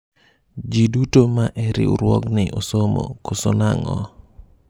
jii duto ma e riwruogni osomo ,koso nang'o ?